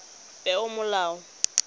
peomolao